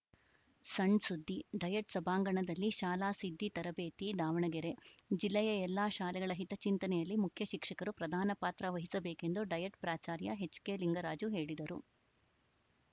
ಸಣ್‌ ಸುದ್ದಿ ಡಯಟ್‌ ಸಭಾಂಗಣದಲ್ಲಿ ಶಾಲಾ ಸಿದ್ದಿ ತರಬೇತಿ ದಾವಣಗೆರೆ ಜಿಲ್ಲೆಯ ಎಲ್ಲಾ ಶಾಲೆಗಳ ಹಿತಚಿಂತನೆಯಲ್ಲಿ ಮುಖ್ಯಶಿಕ್ಷಕರು ಪ್ರಧಾನ ಪಾತ್ರ ವಹಿಸಬೇಕೆಂದು ಡಯಟ್‌ ಪ್ರಾಚಾರ್ಯ ಎಚ್‌ಕೆಲಿಂಗರಾಜು ಹೇಳಿದರು